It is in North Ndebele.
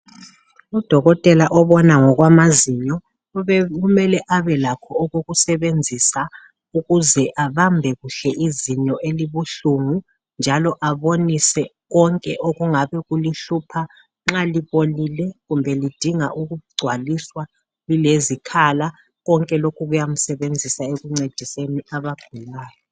Udokotela obona ngokwamazinyo kube kumele abelakho okokusebenzisa ukuze abambe kuhle izinyo elibuhlungu njalo abonise konke okungabe kulihlupha. Nxa libolile kumbe lidinga ukugcwaliswa lilezikhala, konke lokhu kuyamsebenzisa ekuncediseni abagulayo.